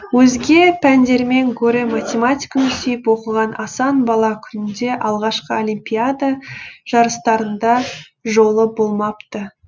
өзге пәндермен гөрі математиканы сүйіп оқыған асан бала күнде алғашқы олимпиада жарыстарында жолы болмапты